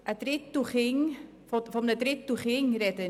Ich spreche von einem Drittel Kinder.